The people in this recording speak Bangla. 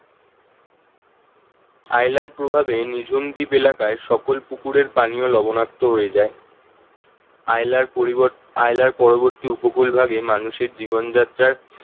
আইলার প্রভাবে নিঝুম দ্বীপ এলাকায় সকল পুকুরের পানীয় লবণাক্ত হয়ে যায় আইলার পরবর্তী উপকূল ভাগে মানুষের জীবনযাত্রার